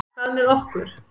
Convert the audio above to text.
Hvað með okkur?